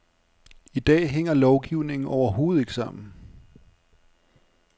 I dag hænger lovgivningen overhovedet ikke sammen.